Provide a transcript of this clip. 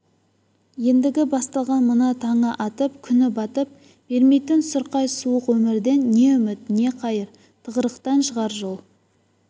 ендігі басталған мына таңы атып күні батып бермейтін сұрқай суық өмірден не үміт не қайыр тығырықтан шығар жол